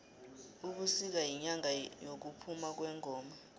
ubisika yinyanga yekuphuma kwengoma